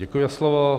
Děkuji za slovo.